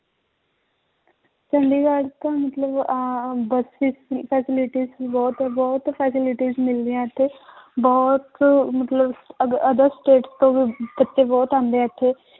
ਚੰਡੀਗੜ੍ਹ ਤਾਂ ਮਤਲਬ ਆਹ ਬਸ ਵਿੱਚ ਵੀ facilities ਬਹੁਤ, ਬਹੁਤ facilities ਮਿਲਦੀਆਂ ਇੱਥੇ ਬਹੁਤ ਮਤਲਬ other state ਤੋਂ ਵੀ ਬੱਚੇ ਬਹੁਤ ਆਉਂਦੇ ਹੈ ਇੱਥੇ